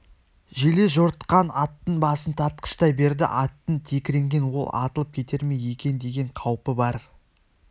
желе жортқан аттың басын тартқыштай берді аттың текірегінен ол атылып кетер ме екен деген қаупі бар